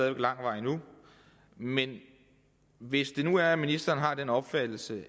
er lang vej endnu men hvis det nu er sådan at ministeren har den opfattelse